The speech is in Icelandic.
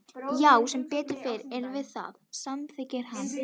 Já sem betur fer erum við það, samþykkir hann.